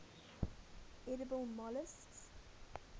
edible molluscs